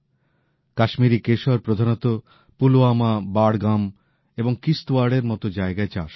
কাশ্মীরি কেশর প্রধানত পুলওয়ামা বাড়গাম এবং কিশ্তওয়াড়ের মতো জায়গায় চাষ হয়